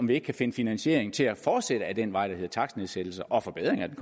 vi kan finde finansiering til at fortsætte ad den vej der hedder takstnedsættelser og forbedring af den